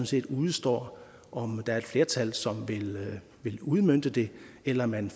set udestår om der er et flertal som vil udmønte det eller om man